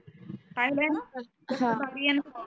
पाहिला आहे णा कसा भारी आहे णा हा